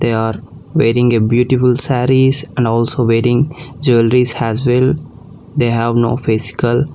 They are wearing a beautiful sarees and also wearing jewelries as well they have no face skull.